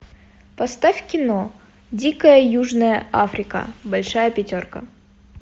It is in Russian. поставь кино дикая южная африка большая пятерка